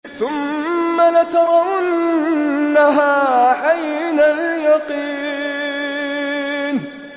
ثُمَّ لَتَرَوُنَّهَا عَيْنَ الْيَقِينِ